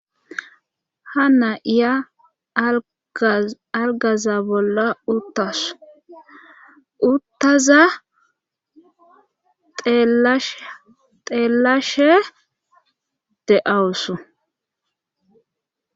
Ha na7iya algaza bolla uttasu uttaza teellashe de7awusu.